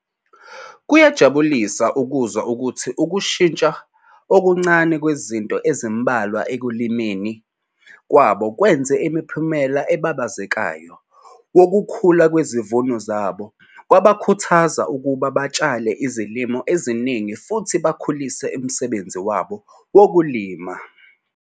Kuyajabulisa ukuzwa ukuthi ukushintsha okuncane kwezinto ezimbalwa ekulimeni kwabo kwenze umphumela obabazekayo wokukhula kwezivuno zabo kwabakhuthaza ukuba batshale izilimo eziningi futhi bakhulise umsebenzi wabo wokulima.